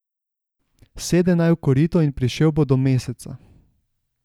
Sede naj v korito in prišel bo do Meseca.